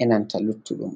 e nanta luttuɗum.